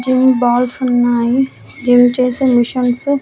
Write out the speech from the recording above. gym బాల్సున్నాయి gym చేసే machines --